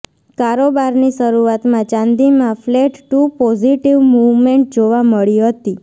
કારોબારની શરૂઆતમાં ચાંદીમાં flat to positive movement જોવા મળી હતી